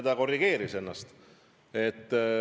Ta korrigeeris ennast.